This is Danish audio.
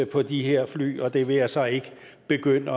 på de her fly og det vil jeg så ikke begynde